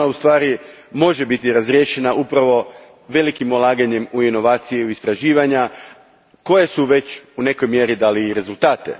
Ona u stvari može biti razriješena upravo velikim ulaganjem u inovacije i istraživanja koja su već u nekoj mjeri dali rezultate.